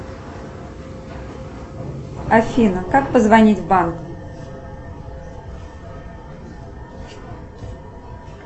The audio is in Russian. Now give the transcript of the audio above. афина как позвонить в банк